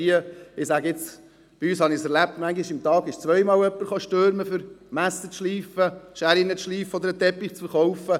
Bei uns habe ich erlebt, dass am selben Tag manchmal zweimal jemand unangenehm insistierte wegen dem Messerschleifen, wegen dem Scherenschleifen oder um einen Teppich zu verkaufen.